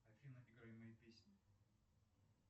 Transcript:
афина играй мои песни